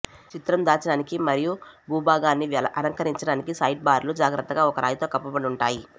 చిత్రం దాచడానికి మరియు భూభాగాన్ని అలంకరించడానికి సైడ్బార్లు జాగ్రత్తగా ఒక రాయితో కప్పబడి ఉంటాయి